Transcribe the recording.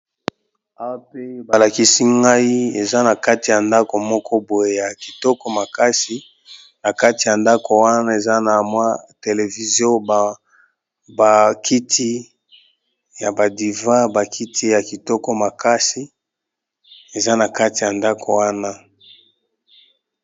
Awa pe ba lakisi ngai eza na kati ya ndaku moko boye ya kitoko makasi, na kati ya ndaku wana eza na mwa télévision, ba kiti ya ba divan, ba kiti ya kitoko makasi eza na kati ya ndaku wana .